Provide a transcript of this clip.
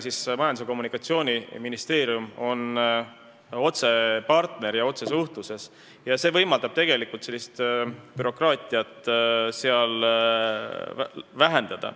Majandus- ja Kommunikatsiooniministeerium on nende otsene partner ja otsesuhtlus võimaldab bürokraatiat vähendada.